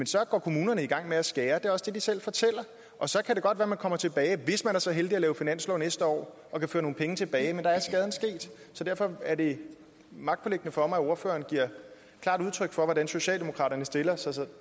så går kommunerne i gang med at skære og det er også det de selv fortæller og så kan det godt være at man kommer tilbage hvis man er så heldig at lave finanslov næste år og kan føre nogle penge tilbage men der er skaden sket så derfor er det magtpåliggende for mig at ordføreren giver klart udtryk for hvordan socialdemokraterne stiller sig